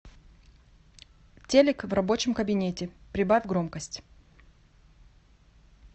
телик в рабочем кабинете прибавь громкость